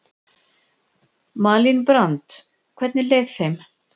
Malín Brand: Hvernig leið þeim?